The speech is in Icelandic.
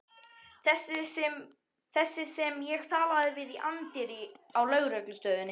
Þessi sem ég talaði við í anddyrinu á lögreglustöðinni.